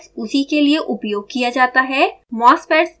mosfets उसी के लिए उपयोग किया जाता है